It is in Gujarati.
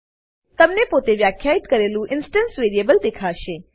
તમને પોતે વ્યાખ્યિત કરેલું ઇન્સટન્સ વેરીએબલ દેખાશે